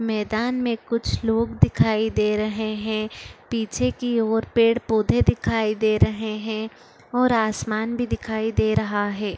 मैदान में कुछ लोग दिखाई दे रहे है पीछे की और पेड़ - पौधा दिखाई दे रहे है और आसमान भी दिखाई दे रहा है।